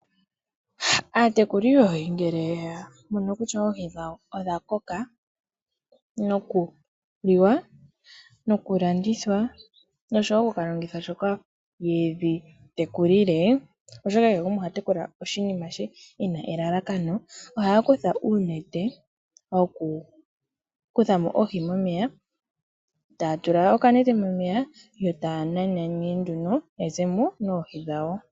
Aatekuli yoohi ngele ya mono kutya odha koka nokuliwa nokulandithwa noshowo oku longithwa shoka yedhi tekulila, oshoka kehe gumwe oha tekula oshinima she ena elalakano, ohaya kutha uunete woku kutha mo oohi momeya. Taa tula okanete momeya yootaya nana nee nduno ya zemo noohi dhawo.